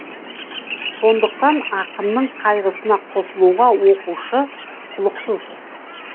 сондықтан ақынның қайғысына қосылуға оқушы құлықсыз